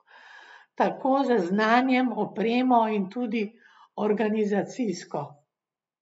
Tako z znanjem, opremo in tudi organizacijsko.